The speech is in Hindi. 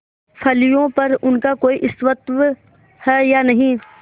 फलियों पर उनका कोई स्वत्व है या नहीं